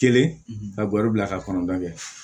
Kelen ka baro bila ka kɔnɔntɔn kɛ